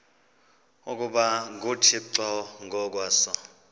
ukuba nguthixo ngokwaso